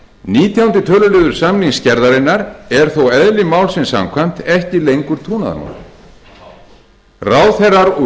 nítjánda töluliður samningssgerðarinnar er þó eðli málsins samkvæmt ekki lengur trúnaðarmál ráðherrar úr